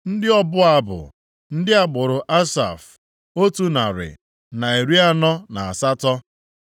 Ndị ọbụ abụ: ndị agbụrụ Asaf, otu narị, na iri anọ na asatọ (148).